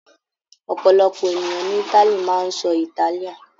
Ọ̀pọ̀lọpọ̀ ènìyàn ní Italy máa ń sọ Italian.